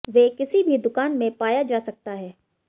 वे किसी भी दुकान में पाया जा सकता है